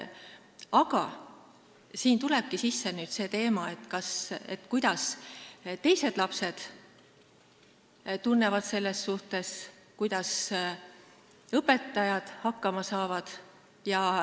Aga siin tulebki sisse see teema, kuidas teised lapsed ennast selles suhtes tunnevad ja kuidas õpetajad hakkama saavad.